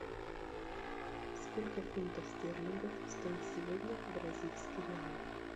сколько фунтов стерлингов стоит сегодня бразильский реал